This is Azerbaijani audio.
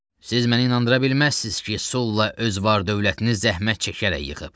Siz məni inandıra bilməzsiniz ki, Sulla öz var-dövlətini zəhmət çəkərək yığıb.